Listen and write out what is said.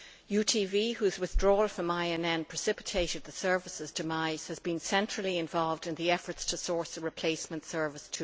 UTV, whose withdrawal from INN precipitated the service's demise, has also been centrally involved in the efforts to source a replacement service.